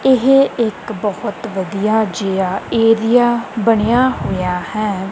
ਇਹ ਇੱਕ ਬਹੁਤ ਵਧੀਆ ਜਿਹਾ ਏਰੀਆ ਬਣਿਆ ਹੋਇਆ ਹੈ।